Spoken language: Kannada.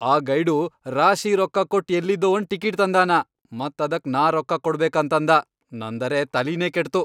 ಆ ಗೈಡು ರಾಶಿ ರೊಕ್ಕಾ ಕೊಟ್ ಎಲ್ಲಿದೋ ಒಂದ್ ಟಿಕಿಟ್ ತಂದಾನ ಮತ್ ಅದಕ್ ನಾ ರೊಕ್ಕಾ ಕೊಡ್ಬೇಕಂತಂದಾ, ನಂದರೆ ತಲಿನೇ ಕೆಟ್ತು.